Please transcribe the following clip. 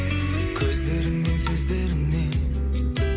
көздеріңнен сөздеріңнен